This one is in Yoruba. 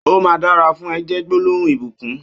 ''Ó mà dàrà fùn è'' jè gbólóhún ibúkùn